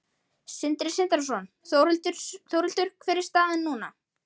Sindri Sindrason: Þórhildur, hver er staðan núna?